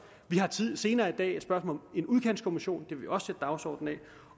vi har senere i dag et spørgsmål en udkantskommission det vil også dagsordenen